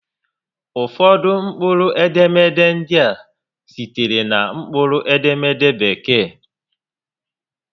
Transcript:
Ụfọdụ mkpụrụ edemede ndị a sitere na mkpụrụ edemede Bekee